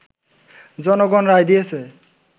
জনগণ রায় দিয়েছে